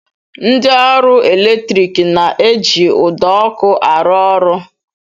Ndị ọrụ eletrik na-eji ụdọ ọkụ arụ ọrụ